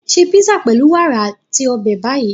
Ṣé písà pẹlu wàrà ati obe Bayi.